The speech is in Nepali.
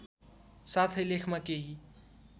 साथै लेखमा केही